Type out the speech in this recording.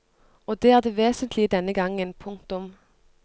Og det er det vesentlige denne gangen. punktum